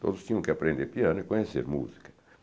Todos tinham que aprender piano e conhecer música.